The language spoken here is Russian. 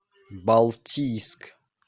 балтийск